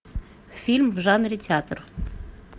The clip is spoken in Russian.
фильм в жанре театр